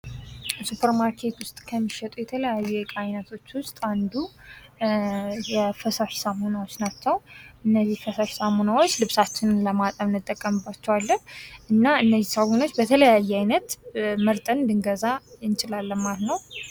ሱፐርማርኬት ውስጥ ከሚሸጡ የተለያዩ የእቃ አይነቶች ውስጥ አንዱ የፈሳሽ ሳሙናዎች ናቸው ። እነዚህ ፈሳሽ ሳሙናዎች ልብሳችንን ለማጠብ እንጠቀምባቸዋለን እና እነዚህ ሳሙናዎች በተለያየ አይነት መርጠን ልንገዛ እንችላለን ማለት ነው ።